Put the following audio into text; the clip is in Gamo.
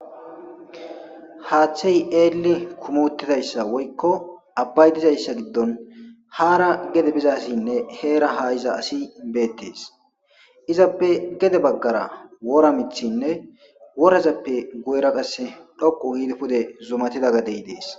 Haththey eelli kumotidayssa woykko abbay dizayssa giddon haara gede bizasinne heera ha iza asi beettees izappe gede baggara wora mithinne worazappe goyra qasse dhoqu hiide pude zumatida gadey dees.